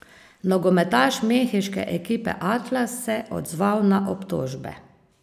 Nogometaš mehiške ekipe Atlas se odzval na obtožbe.